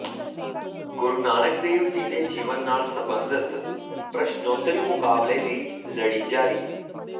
ਗੁਰੂ ਨਾਨਕ ਦੇਵ ਜੀ ਦੇ ਜੀਵਨ ਨਾਲ ਸਬੰਧਤ ਪ੍ਰਸ਼ਨੋਤਰੀ ਮੁਕਾਬਲੇ ਦੀ ਲੜੀ ਜਾਰੀ